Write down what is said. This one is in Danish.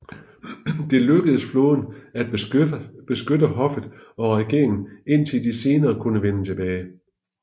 Det lykkedes flåden at beskytte hoffet og regeringen indtil de senere kunne vende tilbage